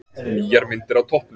Nýjar myndir á toppnum